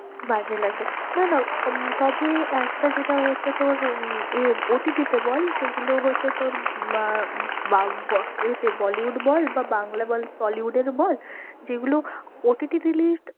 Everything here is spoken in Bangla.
বাজে লাগে না না, তবে একটা যেটা হচ্ছে তোর এ OTT তে বল যেগুলো হচ্ছে তোর আহ এ তে bollywood বল বা বাংলা বল tollywood এর বল যেগুলো OTTreleased